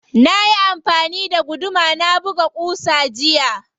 Nayi amfani da guduma na buga ƙusa jiya.